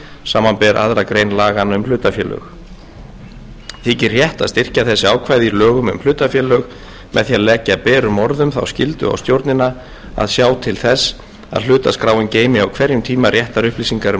samanber aðra grein laganna um hlutafélög þykir rétt að styrkja þessi ákvæði í lögum um hlutafélög með því að leggja berum orðum þá skyldu á stjórnina að sjá til þess að hlutaskráin geymi á hverjum tíma réttar upplýsingar um